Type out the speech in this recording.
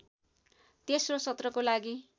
तेस्रो सत्रको लागि